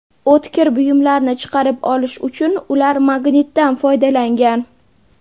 O‘tkir buyumlarni chiqarib olish uchun ular magnitdan foydalangan.